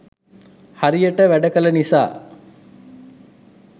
හරියට වැඩ කළ නිසා